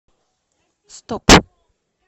стоп